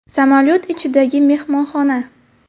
Samolyot ichidagi mehmonxona .